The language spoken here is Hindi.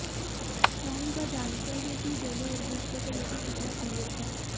न ही वह जानते हैं कि दोनों एक दूसरे को लेकर कितना सीरियस हैं